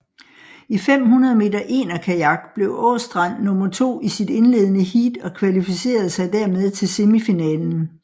I 500 m enerkajak blev Aastrand nummer to i sit indledende heat og kvalificerede sig dermed til semifinalen